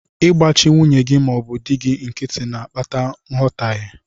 Ịgbachi nwunye gị ma ọ bụ di gị nkịtị na-akpata nghọtaghe.